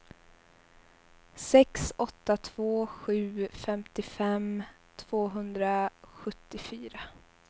sex åtta två sju femtiofem tvåhundrasjuttiofyra